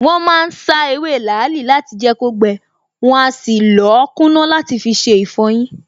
Wọ́n ma ń sá ewé làálì láti jẹ́ kó gbẹ, wọn á sì lọ̀ọ́ kúná làti fiṣe ìfọyín